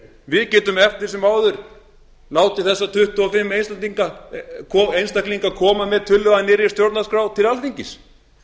við getum eftir sem áður látið þessa tuttugu og fimm einstaklinga koma með tillögu að nýrri stjórnarskrá til alþingis